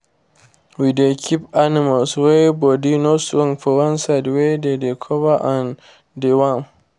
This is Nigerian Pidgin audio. we dey keep animal wey body no strong for one side wey dey cover and dey warm